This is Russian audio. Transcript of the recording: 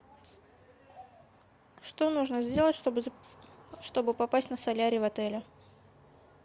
что нужно сделать чтобы попасть на солярий в отеле